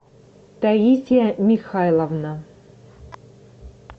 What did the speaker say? таисия михайловна